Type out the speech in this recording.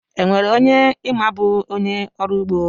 E nwere onye ị ma bụ onye ọrụugbo?